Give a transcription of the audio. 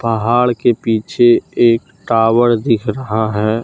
पहाड़ के पीछे एक टावर दिख रहा है।